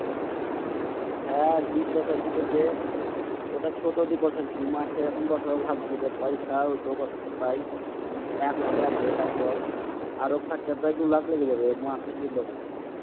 হ্যাঁ ড্রিপ বসাইছি বলতে ওটা ছোট ড্রিপ বসাইছি। মাঠে এখন বাসাবো ভাবছি। তো পয়সা ও তো বসেছি প্রায় এক লাক্ষ লাগবে তারপর আরও খরচ্চা প্রায় দুই লাক্ষ লাগে যাবে মাঠে ড্রিপ বসাতে।